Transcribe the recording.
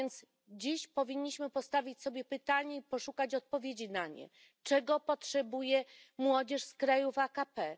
Dlatego dziś powinniśmy postawić sobie pytanie i poszukać odpowiedzi na nie. Czego potrzebuje młodzież z krajów AKP?